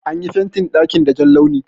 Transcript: An yi fentin daƙin da Jan launi.